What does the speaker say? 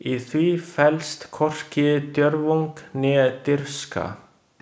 Í því felst hvorki djörfung né dirfska.